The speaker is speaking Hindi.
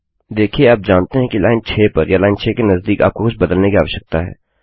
देखिये आप जानते हैं कि लाइन 6 पर या लाइन 6 के नज़दीक आपको कुछ बदलने की आवश्यकता है